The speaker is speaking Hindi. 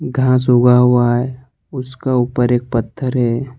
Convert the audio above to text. घास उगा हुआ है उसके ऊपर एक पत्थर है।